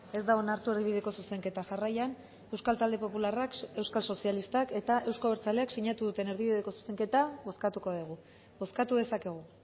ez da onartu erdibideko zuzenketa jarraian euskal talde popularrak euskal sozialistak eta euzko abertzaleak sinatu duten erdibideko zuzenketa bozkatuko dugu bozkatu dezakegu